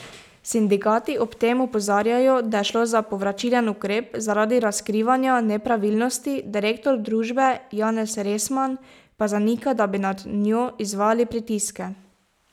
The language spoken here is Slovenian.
Sindikati ob tem opozarjajo, da je šlo za povračilen ukrep zaradi razkrivanja nepravilnosti, direktor družbe Janez Resman pa zanika, da bi nad njo izvajali pritiske.